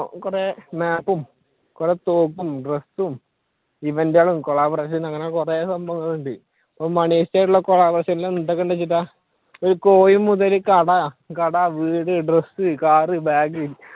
കുറെ map ഉം, കുറെ തോക്കും, ഡ്രസ്സും, event കളും, collaboration അങ്ങനെ കുറെ സംഭവങ്ങളുണ്ട് കട, വീട്, ഡ്രസ്സ്, കാർ, ബാഗ്